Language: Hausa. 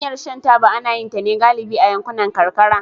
Hanyar shan taba ana yin ta ne galibi a yankunan karkara